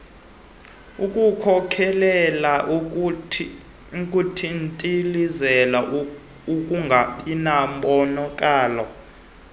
ukukhokhelela ekuthintilizeni ukungabinambonakalo